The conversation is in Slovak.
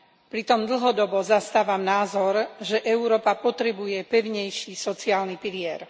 Pritom dlhodobo zastávam názor, že Európa potrebuje pevnejší sociálny pilier.